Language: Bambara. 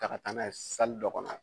Ta ka taa n'a ye dɔ kɔnɔ